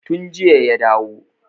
Tun jiya ya dawo.